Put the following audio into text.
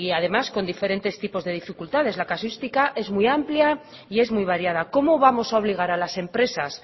además con diferentes tipos de dificultades la casuística es muy amplia y es muy variada cómo vamos a obligar a las empresas